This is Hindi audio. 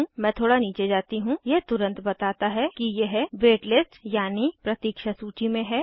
मैं थोड़ा नीचे जाती हूँ यह तुरन्त बताता है कि यह वेट लिस्ट यानी प्रतीक्षा सूची में है